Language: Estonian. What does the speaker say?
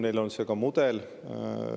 Neil on see mudel.